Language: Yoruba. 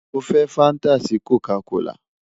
Mo fẹ fanta si Coca kola